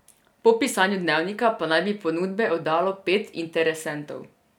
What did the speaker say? Po pisanju Dnevnika pa naj bi ponudbe oddalo pet interesentov.